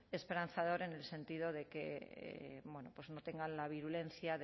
esperanzador en el sentido de que bueno pues no tengan la virulencia